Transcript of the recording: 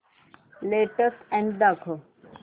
latest ad दाखव